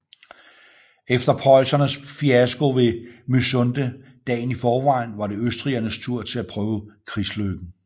Efter preussernes fiasko ved Mysunde dagen i forvejen var det østrigernes tur til at prøve krigslykken